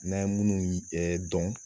N'an ye munnu yi dɔn.